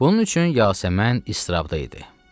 Bunun üçün Yasəmən iztirabda idi.